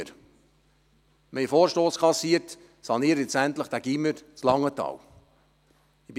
Wir haben einen Vorstoss kassiert, nun endlich dieses Gymnasium in Langenthal zu sanieren.